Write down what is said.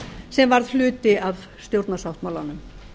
sem varð hluti af stjórnarsáttmálanum